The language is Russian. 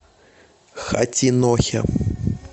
хатинохе